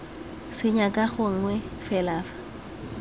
senya ka gangwe fela fa